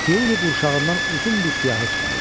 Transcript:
Tiuli qurşağından uzun bir siyahı çıxarır.